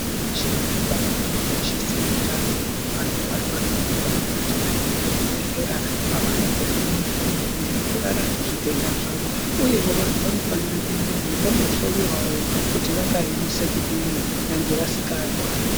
Muntu veshe anofanire kukoshese utano vantu varwara vanofanire kuti vaende kuzvibhedhlera kwavanondopuve mutombo unoenderana nezvitenda zvavo, uyevo vantu vanofanire kuende veibhondo hloiwavo kuti vakaemese kudini nyangwe vasikarwari.